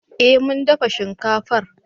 Eh mun dafa shinkafar